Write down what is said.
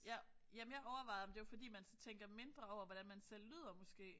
Ja. Ja men jeg overvejede om det var fordi man så tænker mindre over hvordan man selv lyder måske